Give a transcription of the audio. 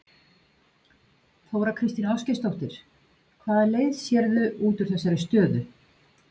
Þóra Kristín Ásgeirsdóttir: Hvaða leið sérðu út úr þessari stöðu?